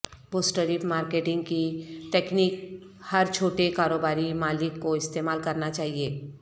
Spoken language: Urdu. بوٹسٹریپ مارکیٹنگ کی تکنیک ہر چھوٹے کاروباری مالک کو استعمال کرنا چاہئے